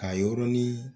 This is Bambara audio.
Ka yɔrɔnin